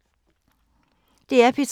DR P3